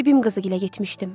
Bibim qızı gilə getmişdim.